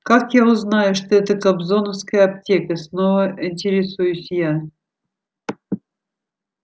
как я узнаю что это кобзоновская аптека снова интересуюсь я